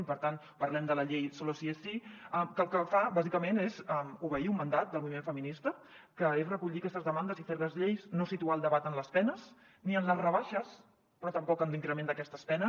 i per tant parlem de la llei solo sí es sí que el que fa bàsicament és obeir un mandat del moviment feminista que és recollir aquestes demandes i fer les lleis no situar el debat en les penes ni en les rebaixes però tampoc en l’increment d’aquestes penes